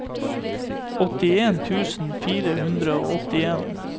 åttien tusen fire hundre og åttien